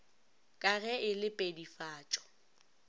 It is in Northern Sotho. ka ge e le pedifatšo